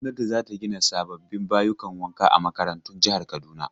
Gwamnati za ta gina sababbin bayukan wanka a makarantun jihar Kaduna.